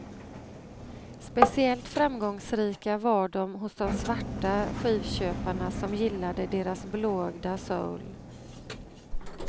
Speciellt framgångsrika var de hos de svarta skivköparna som gillade deras blåögda soul.